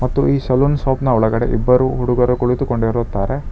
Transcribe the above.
ಈ ಸಲೂನ್ ಸೋಪ್ನ ಒಳಗಡೆ ಇಬ್ಬರು ಹುಡುಗರು ಕುಳಿತುಕೊಂಡಿರುತ್ತಾರೆ.